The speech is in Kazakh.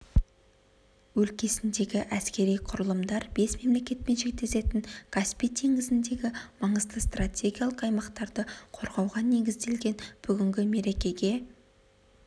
өлкесіндегі әскери құрылымдар бес мемлекетпен шектесетін каспий теңізіндегі маңызды стратегиялық аймақтарды қорғауға негізделген бүгінгі мерекеге